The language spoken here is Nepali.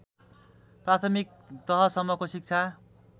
प्राथमिक तहसम्मको शिक्षा